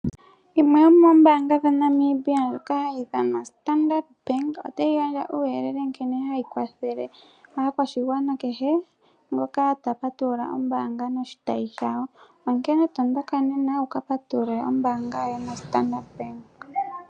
Yimwe yomombanga dhaNamibia ndjoka hadhi ithanwa Standard Bank , otayi gandja uuyelele uuyelele nkene hayi kwathele aakwashigwana kehe ngoka tapatulula ombaanga noshitayi shayo. Onkene tondoka nena wukapatulule ombaanga yoye yaStandard Bank.